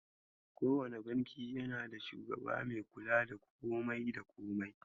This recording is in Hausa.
Ko wane banki yanda da shugaba me kula da komai da komai.